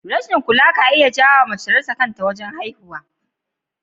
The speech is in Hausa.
Rashin kula ka iya jawowa mace ta rasa kanta wajen haihuwa